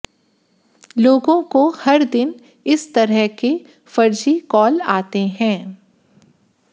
लोगों को हर दिन इस तरह के फर्जी कॉल आते हैं